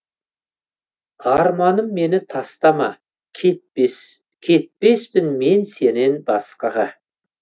арманым мені тастама кетпеспін мен сенен басқаға